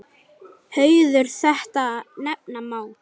Hauður þetta nefna má.